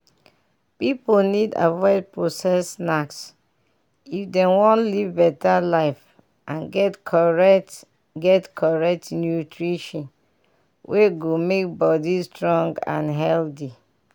pipiu need avoid processed snacks if dem wan live better life and get correct get correct nutrition wey go make body strong and healthy.